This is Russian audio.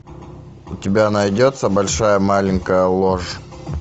у тебя найдется большая маленькая ложь